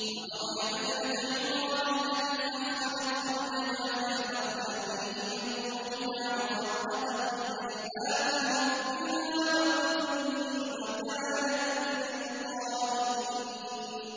وَمَرْيَمَ ابْنَتَ عِمْرَانَ الَّتِي أَحْصَنَتْ فَرْجَهَا فَنَفَخْنَا فِيهِ مِن رُّوحِنَا وَصَدَّقَتْ بِكَلِمَاتِ رَبِّهَا وَكُتُبِهِ وَكَانَتْ مِنَ الْقَانِتِينَ